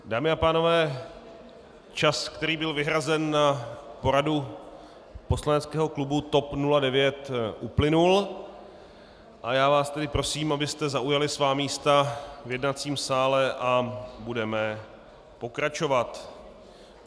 Dámy a pánové, čas, který byl vyhrazen na poradu poslaneckého klubu TOP 09, uplynul, a já vás tedy prosím, abyste zaujali svá místa v jednacím sále, a budeme pokračovat.